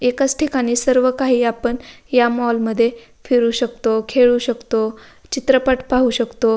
एकाच ठिकाणी सर्व काही आपण या मॉल मध्ये फिरू शकतो खेळू शकतो चित्रपट पाहू शकतो.